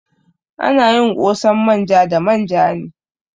Ana yin ƙosan manja da manja ne.